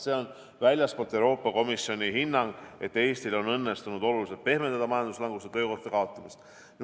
See on väljastpoolt, Euroopa Komisjoni hinnang, et Eestil on õnnestunud oluliselt pehmendada majanduslangust ja töökohtade kaotamist.